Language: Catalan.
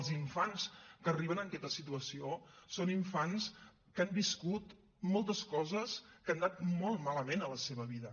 els infants que arriben a aquesta situació són infants que han viscut moltes coses que han anat molt malament a la seva vida